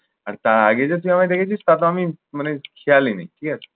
আর তার আগে যে তুই আমাকে দেখেছিস তা তো আমি মানে খেয়ালই নেই। ঠিক আছে?